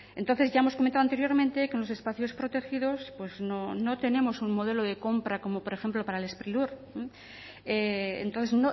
entonces ya hemos comentado anteriormente que en los espacios protegidos pues no tenemos un modelo de compra como por ejemplo para el sprilur entonces